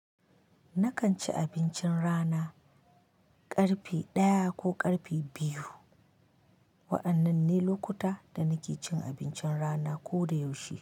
Nakan ci abincin rana, ƙarfe ɗaya ko ƙarfe biyu. Wa'annan ne lokuta da nake cin abincin rana ko da yaushe.